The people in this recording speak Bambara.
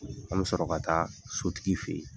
An bɛ sɔrɔ ka taa sotigi fɛ yen.